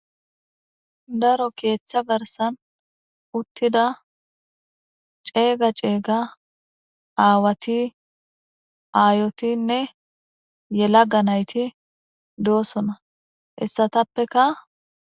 daro keeththa garsan uttida ceega ceega aawati aayotinne yelaga nayti doosona hessatappeka